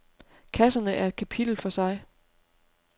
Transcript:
Kasserne er et kapitel for sig.